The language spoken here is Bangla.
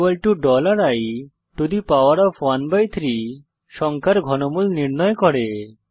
Cই13 সংখ্যার ঘনমূল নির্ণয় করে